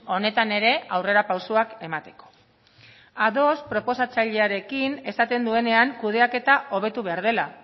honetan ere aurrerapausoak emateko ados proposatzailearekin esaten duenean kudeaketa hobetu behar dela